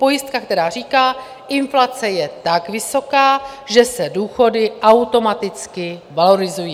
Pojistka, která říká: inflace je tak vysoká, že se důchody automaticky valorizují.